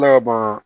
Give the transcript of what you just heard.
Ne ka ban